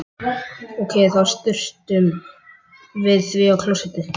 Ókei, þá sturtum við því í klósettið.